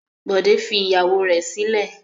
Bọ̀dé fi ìyàwó rẹ̀ sílẹ̀.